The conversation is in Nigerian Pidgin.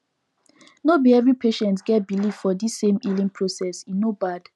no be every patients get believe for the same healing process e no bad